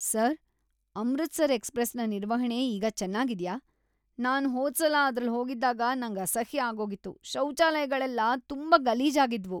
Sir, Amritsar ಎಕ್ಸ್‌ಪ್ರೆಸ್‌ನ ನಿರ್ವಹಣೆ ಈಗ ಚೆನ್ನಾಗಿದ್ಯಾ? ನಾನ್ ಹೋದ್ಸಲ ಅದ್ರಲ್ ಹೋಗಿದ್ದಾಗ ನಂಗ್ ಅಸಹ್ಯ ಆಗೋಗಿತ್ತು. ಶೌಚಾಲಯಗಳೆಲ್ಲ ತುಂಬಾ ಗಲೀಜಾಗಿದ್ವು.